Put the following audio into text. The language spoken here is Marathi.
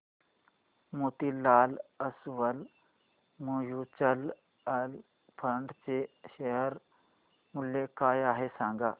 मोतीलाल ओस्वाल म्यूचुअल फंड चे शेअर मूल्य काय आहे सांगा